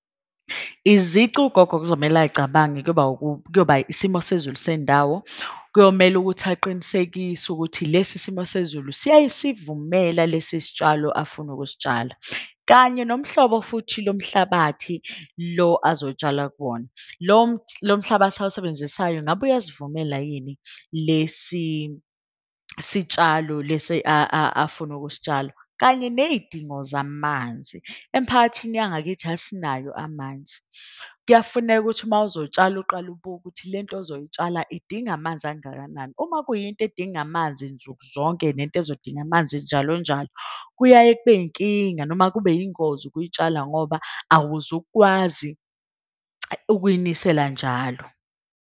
Izici ugogo okuzomele ayicabange kuyoba isimo sezulu sendawo. Kuyomele ukuthi aqinisekise ukuthi lesi simo sezulu siyasivumela lesi sitshalo afuna ukusitshala. Kanye nomhlobo futhi lo mhlabathi lo azotshala kuwona, lo mhlabathi awusebenzisayo. Ngabe uyasivumela yini lesi sitshalo lesi afuna ukusitshala. Kanye ney'dingo zamanzi, emphakathini yangakithi asinayo amanzi. Kuyafuneka ukuthi mawuzotshala uqale ubuke ukuthi lento ozoy'tshala idinga amanzi angakanani. Uma kuyinto edinga amanzi nsuku zonke, nento ezodinga amanzi njalo njalo. Kuyaye kube yinkinga noma kube yingozi ukuyitshala ngoba awuzukwazi ukuyinisela njalo.